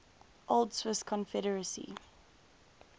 old swiss confederacy